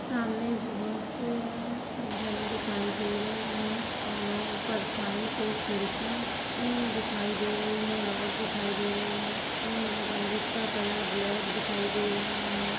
सामने बहुत-अ-सी गन दिखाई दे रही है अ-और परछाई पे अ-खिड़की दिखाई दे रही है रोड दिखाई दे रही है| एक बन्दूक का कलर ब्लैक दिखाई दे रहा है।